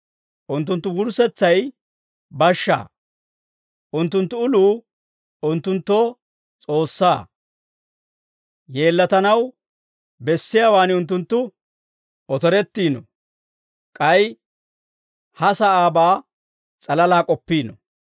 Unttunttu wurssetsay bashshaa; unttunttu uluu unttunttoo S'oossaa; yeellatanaw bessiyaawan unttunttu otorettiino; k'ay ha sa'aabaa s'alalaa k'oppiino.